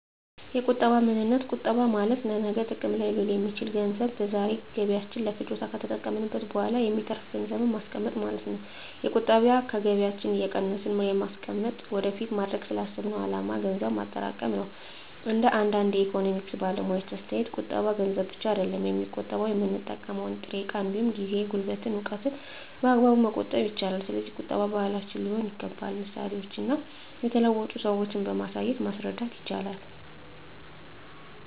የቁጠባ ምንነት ቁጠባ ማለት ለነገ ጥቅም ላይ ሊውል የሚችል ገንዘብ ከዛሬ ገቢያችን ለፍጆታ ከተጠቀምንት በኋላ የሚተርፍን ገንዘብን ማስቀመጥ ማለት ነው። የቁጠባ ከገቢያችን እየቀነስን በማስቀመጥ ወደፊት ማድረግ ላሰብነው አላማ ገንዘብ ማጠራቀም ነው። እንደ አንዳንድ የኢኮኖሚክስ ባለሙያዎች አስተያየት ቁጠባ ገንዘብ ብቻ አይደለም የሚቆጠበው የምንጠቀመው ጥሬ እቃ እንዲሁም ጊዜ፣ ጉልበትን፣ እውቀትን በአግባቡ መቆጠብ ይቻላል። ስለዚህ ቁጠባ ባህላችን ሊሆን ይገባል ምሳሌዎችን እና የተለወጡ ሰዎችን በማሳየት ማስረዳት ይቻላል